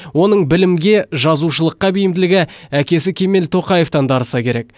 оның білімге жазушылыққа бейімділігі әкесі кемел тоқаевтан дарыса керек